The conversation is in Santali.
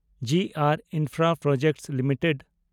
G R infraproject limited